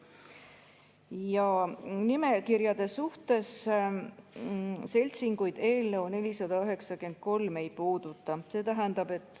Ja nimekirjade suhtes: seltsinguid eelnõu 493 ei puuduta.